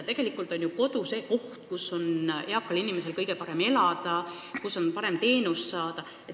Kodu on ju see koht, kus eakal inimesel on kõige parem elada ja kus on kõige parem teenust saada.